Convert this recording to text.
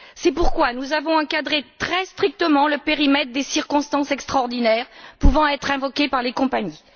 C'est pourquoi nous avons encadré, très strictement, le périmètre des circonstances extraordinaires pouvant être invoquées par les compagnies.